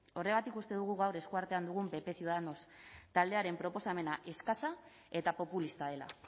horregatik uste dugu gaur eskuartean dugun pp ciudadanos taldearen proposamena eskasa eta populista dela